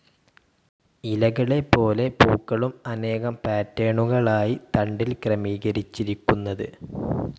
ഇലകളെപോലെ പൂക്കളും അനേകം പാറ്റെണുകളായി തണ്ടിൽ ക്രമീകരിച്ചിരിക്കുന്നത്.